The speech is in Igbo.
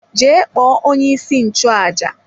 Jee kpọọ onye-isi-nchu-àjà!